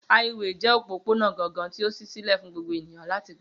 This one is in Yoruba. Háíwèè jẹ́ òpópónà gangan tí ó ṣí sílẹ̀ fún gbogbo ènìyàn láti gbà